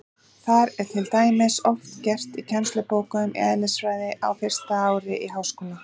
Það er til dæmis oft gert í kennslubókum í eðlisfræði á fyrsta ári í háskóla.